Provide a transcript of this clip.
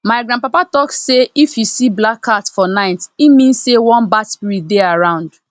my grandpapa talk say if you see black cat for night e mean say one bad spirit dey around